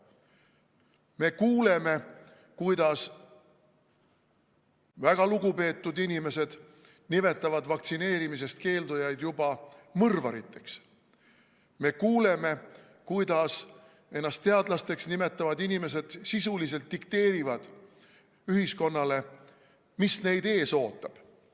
Me kuuleme, kuidas väga lugupeetud inimesed nimetavad vaktsineerimisest keeldujaid juba mõrvariteks, me kuuleme, kuidas ennast teadlasteks nimetavad inimesed sisuliselt dikteerivad ühiskonnale, mis meid ees ootab.